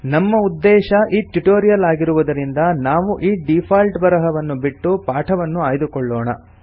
ನಮ್ಮ ಉದ್ದೇಶ ಈ ಟ್ಯುಟೋರಿಯಲ್ ಆಗಿರುವುದರಿಂದ ನಾವು ಈ ಡೀಫಾಲ್ಟ್ ಬರಹವನ್ನು ಬಿಟ್ಟು ಪಾಠವನ್ನು ಆಯ್ದುಕೊಳ್ಳೋಣ